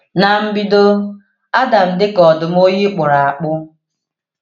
N’mbido, Adam dị ka ọdụ̀m oyi kpụrụ akpụ.